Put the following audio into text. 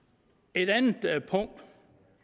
et andet punkt